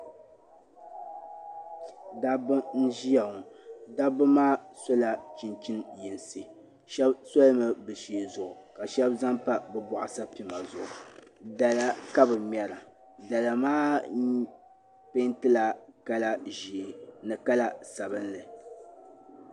Dabbi nʒiya ŋɔ dabbi maa so la chinchini yinsi shabi solimi bɛ shee zuɣu. ka shabi zaŋ pa bɛ bɔɣu sapima zuɣu dala kabɛ ŋmera dala maa pɛɛntila kala sabinli nila ʒɛɛ